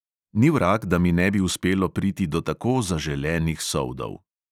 Ni vrag, da mi ne bi uspelo priti do tako zaželenih soldov.